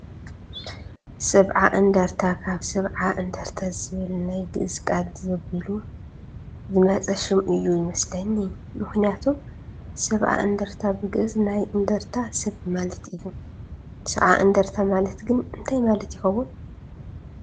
ሰብዓ እንድርታ ካብ ሰብኣ እንድርታ ዝብል ናይ ግእዝ ቃል ዘቢሉ ዝመፀ ሽም እዩ ዝመስለኒ፡፡ ምኽንያቱም ሰብኣ እንድርታ ብግእዝ ናይ እንዳርታ ሰብ ማለት እዩ፡፡ ሰብዓ እንድርታ ማለት ግን እንታይ ማለት ይኸውን?